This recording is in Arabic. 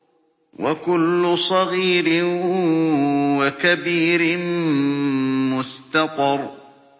وَكُلُّ صَغِيرٍ وَكَبِيرٍ مُّسْتَطَرٌ